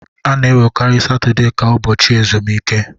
A na-ewerekarị Satọde ka ụbọchị ezumike.